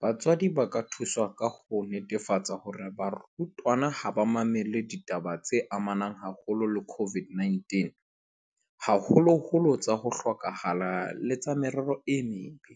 Batswadi ba ka thusa ka ho netefatsa hore barutwana ha ba mamele ditaba tse amanang haholo le COVID-19, haholoholo tsa ho hloka hala le tsa merero e mebe,